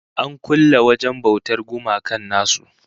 An kulle wajen bautar gumakan nasu